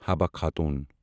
Habba Khatoon